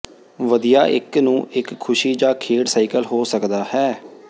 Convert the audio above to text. ਵਧੀਆ ਇੱਕ ਨੂੰ ਇੱਕ ਖੁਸ਼ੀ ਜ ਖੇਡ ਸਾਈਕਲ ਹੋ ਸਕਦਾ ਹੈ